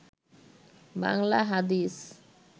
বাংলা হাদিস